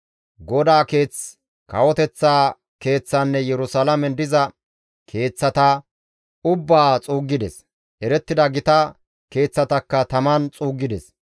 GODAA Keeth, kawoteththa keeththaanne Yerusalaamen diza keeththata ubbaa xuuggides; erettida gita keeththatakka taman xuuggides.